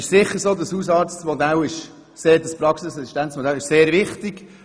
Sicher ist dieses Praxisassistenzmodell sehr wichtig.